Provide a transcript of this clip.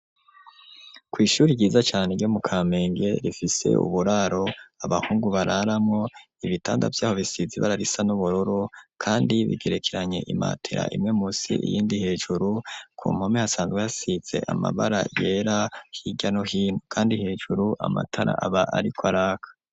Kw'ishuri ryiza cane ryo mu Kamenge, rifise uburaro abahungu bararamwo, ibitanda vy'aho bisize ibara risa n'ubururu, kandi bigerekeranye imatera imwe munsi iyindi hejuru; ku mpome hasanzwe hasize amabara yera hirya no hino, kandi hejuru amatara aba ariko araka.